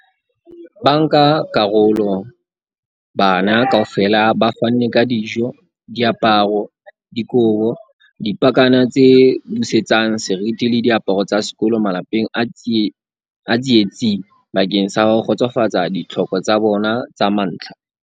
Bankakarolo bana kaofela ba fanne ka dijo, diaparo, dikobo, dipakana tse busetsang seriti le diaparo tsa sekolo malapeng a tsietsing bakeng sa ho kgotsofatsa ditlhoko tsa bona tsa mantlha.